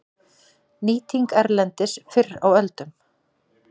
Nýting erlendis fyrr á öldum